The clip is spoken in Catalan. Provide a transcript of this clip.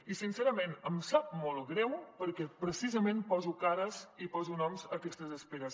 i sincerament em sap molt greu perquè precisament poso cares i poso noms a aquestes esperes